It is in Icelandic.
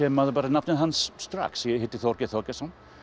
maður nafnið hans strax ég hitti Þorgeir Þorgeirsson